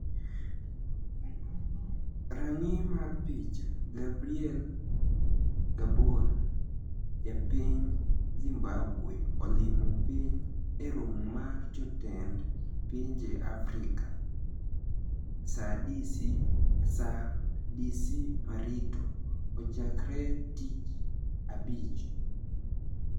Raniyi mar pich, Gabriel Gaboni japiniy Zimbabwe olimo piniy e romo mar jotenid pinije africa SaaDC mirito ochakre tich abich